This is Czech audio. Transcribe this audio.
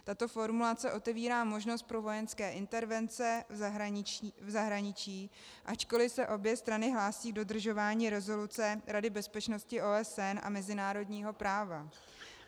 Tato formulace otevírá možnost pro vojenské intervence v zahraničí, ačkoliv se obě strany hlásí k dodržování rezoluce Rady bezpečnosti OSN a mezinárodního práva.